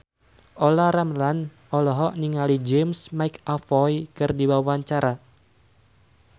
Olla Ramlan olohok ningali James McAvoy keur diwawancara